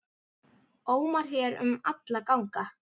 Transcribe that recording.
ómar hér um alla ganga.